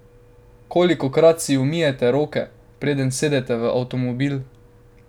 Kolikokrat si umijete roke, preden sedete v avtomobil?